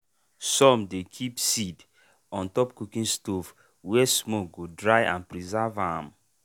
some dey keep seed on top cooking stoves wey smoke go dry and preserve ahm.